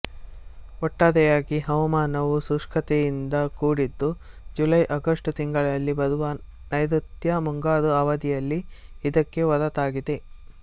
ಒಟ್ಟಾರೆಯಾಗಿ ಹವಾಮಾನವು ಶುಷ್ಕತೆಯಿಂದ ಕೂಡಿದ್ದು ಜುಲೈಆಗಸ್ಟ್ ತಿಂಗಳಲ್ಲಿ ಬರುವ ನೈಋತ್ಯ ಮುಂಗಾರು ಅವಧಿಯಲ್ಲಿ ಇದಕ್ಕೆ ಹೊರತಾಗಿದೆ